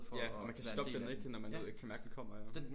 Ja og man kan stoppe den ikke? Når man kan mærke den kommer ja okay